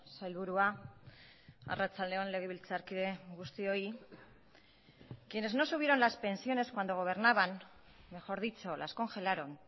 sailburua arratsalde on legebiltzarkide guztioi quienes no subieron las pensiones cuando gobernaban mejor dicho las congelaron